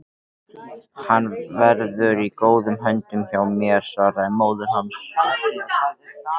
Hann verður í góðum höndum hjá mér svaraði móðir hans.